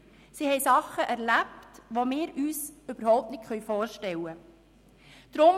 sie haben Dinge erlebt, die wir uns überhaupt nicht vorstellen können.